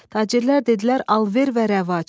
Tacirlər dedilər alver və rəvac.